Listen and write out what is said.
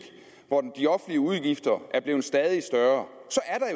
hvor de offentlige udgifter er blevet stadig større